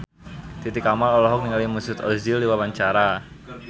Titi Kamal olohok ningali Mesut Ozil keur diwawancara